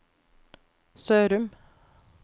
Sørum